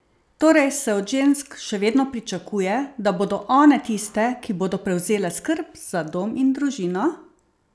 Torej se od žensk še vedno pričakuje, da bodo one tiste, ki bodo prevzele skrb za dom in družino?